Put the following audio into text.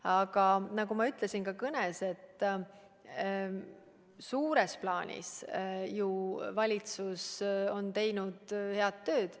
Aga nagu ma ütlesin ka kõnes, suures plaanis on valitsus teinud head tööd.